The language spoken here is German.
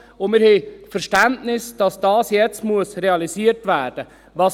Wir haben Verständnis dafür, dass das jetzt realisiert werden muss.